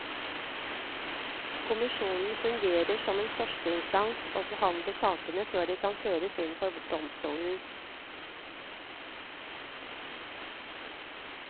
Kommisjonen fungerer som en førsteinstans, og behandler sakene før de kan føres inn for domstolen.